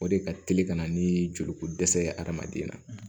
O de ka teli ka na ni joliko dɛsɛ ye adamaden na